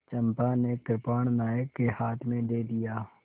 चंपा ने कृपाण नायक के हाथ में दे दिया